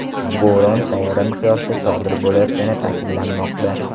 Bo‘ron sayyora miqyosida sodir bo‘layotgani ta’kidlanmoqda.